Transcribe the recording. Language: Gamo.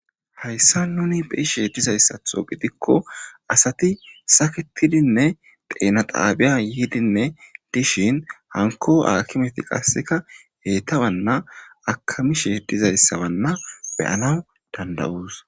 Hayssa nuni beishe dizayssatho gidikko asati saketidinne deenaxaabiya yiidinne dishin hanko aakimeti qasseka heyta wanna akami shee dizayssawanna beyana danda7uus.